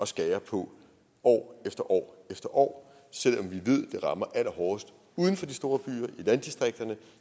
skære på år efter år år selv om vi ved det rammer allerhårdest uden for de store byer i landdistrikterne